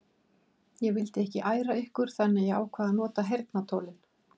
Ég vildi ekki æra ykkur þannig að ég ákvað að nota heyrnartólin.